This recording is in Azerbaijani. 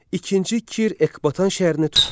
İkinci Kir Ekbatan şəhərini tutdu.